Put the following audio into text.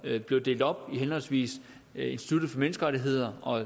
blev delt op i henholdsvis institut for menneskerettigheder og